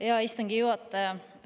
Hea istungi juhataja!